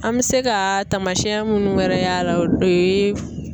An mɛ se ka taamasiyɛn munnu wɛrɛ y'a la o ye